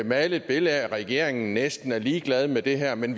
male et billede af at regeringen næsten er ligeglad med det her men